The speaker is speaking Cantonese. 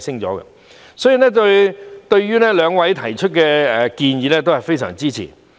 因此，對於兩位議員提出的建議，我非常支持。